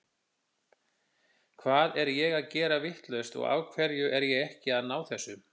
Hvað er ég að gera vitlaust og af hverju er ég ekki að ná þessu?